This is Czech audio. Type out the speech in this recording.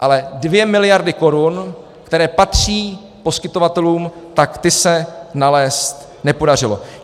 Ale 2 miliardy korun, které patří poskytovatelům, tak ty se nalézt nepodařilo.